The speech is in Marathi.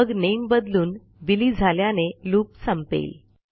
मग नामे बदलून बिली झाल्याने लूप संपेल